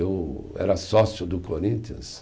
Eu era sócio do Corinthians.